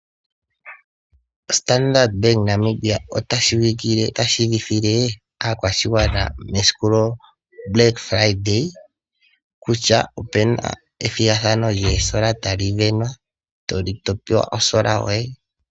Standard Bank Namibia ota tseyithile aakwashigwana mesiku lyEtitano eludhe kutya opuna ethigathano lyosola tadhi sindanwa topewa osola yoye.